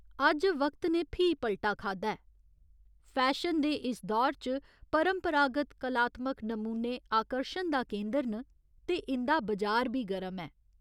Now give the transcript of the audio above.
अज्ज वक्त ते फ्ही पल्टा खाद्धा ऐ, फैशन दे इस दौर च परंपरागत कलात्मक नमूने आकर्शन दा केंदर न ते इं'दा बजार बी गर्म ऐ।